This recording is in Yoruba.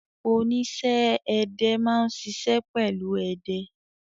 Oníṣẹ́-ẹdẹ máa ń ṣiṣẹ́ pẹ̀lú ẹdẹ.